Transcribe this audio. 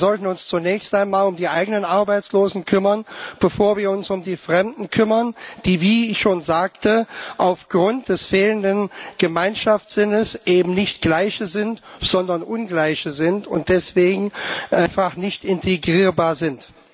Wir sollten uns zunächst einmal um die eigenen Arbeitslosen kümmern, bevor wir uns um die Fremden kümmern, die wie ich schon sagte aufgrund des fehlenden Gemeinschaftssinns eben nicht Gleiche, sondern Ungleiche sind und deswegen einfach nicht integrierbar sind.